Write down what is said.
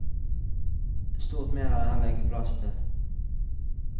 Stort mer er det heller ikke plass til.